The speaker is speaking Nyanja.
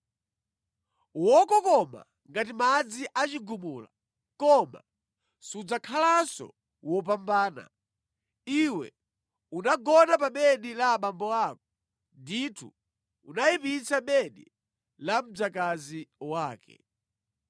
Wokokoma ngati madzi a chigumula, koma sudzakhalanso wopambana, iwe unagona pa bedi la abambo ako, ndithu unayipitsa bedi la mdzakazi wake.